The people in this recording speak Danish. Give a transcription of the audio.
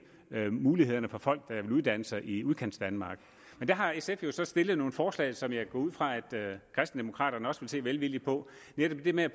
mulighederne for folk der vil uddanne sig i udkantsdanmark men der har sf jo så stillet nogle forslag som jeg går ud fra at kristendemokraterne også vil se velvilligt på netop det med at